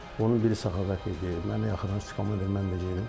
Onun biri Səxavət idi, mənə yaxınlaşdı, komandir mən də gedim.